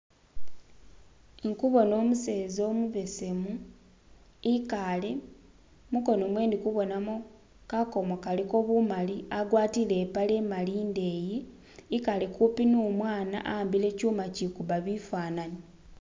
Ndikubona umuseza umubesemu ikaale, munkono mwewe ndikubonamo kakomo akaliko bumali agwatile impale imali indeyi ikale kumpi numwana awambile ishuma ishikubba bifananyi.